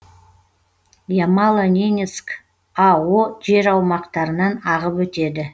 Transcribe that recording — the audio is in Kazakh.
ямало ненецк ао жер аумақтарынан ағып өтеді